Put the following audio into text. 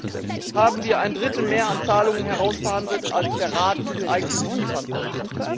Immerhin haben wir ein Drittel mehr an Zahlungen herausverhandelt, als der Rat uns eigentlich liefern wollte.